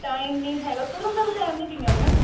time ਨੀ ਹੈਗਾ ਤੁਰਨ ਦਾ ਵੀ time ਨੀ ਕਈਆਂ ਕੋਲ